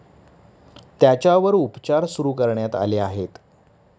त्याच्यावर उपचार सुरू करण्यात आले आहेत.